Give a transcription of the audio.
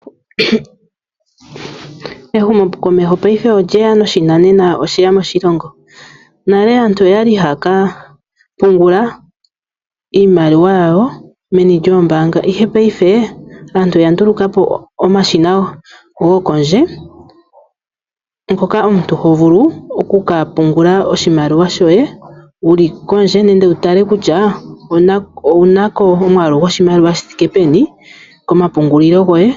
Ehumo komeho paife olye ya, noshinanena osheya moshilongo. Nale aantu oya li haya ka pungula iimaliwa yawo meni lyoombaanga, ihe paife aantu oya nduluka po omashina go kondje, ngoka omuntu ho vulu oku ka pungula oshimaliwa shoye wu li kondje, nenge wu tale kutya, owuna ko omwaalu goshimaliwa shi thike peni komapungulilo goye.